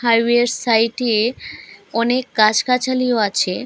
Highway -এর site -এ অনেক গাছ গাছালিও আছে।